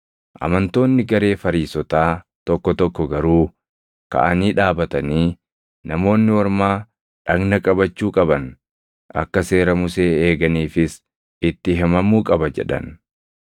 Amantoonni garee Fariisotaa tokko tokko garuu kaʼanii dhaabatanii, “Namoonni Ormaa dhagna qabachuu qaban; akka seera Musee eeganiifis itti himamuu qaba” jedhan.